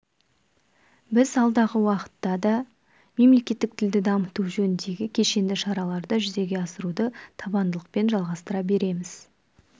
біз алдағы уақытта да мемлекеттік тілді дамыту жөніндегі кешенді шараларды жүзеге асыруды табандылықпен жалғастыра береміз